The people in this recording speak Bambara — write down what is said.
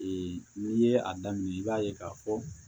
n'i ye a daminɛ i b'a ye k'a fɔ